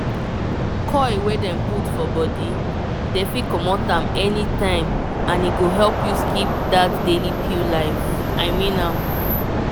coil wey dem put for body dey fit comot am anytime and e go help you skip that daily pill life. i mean am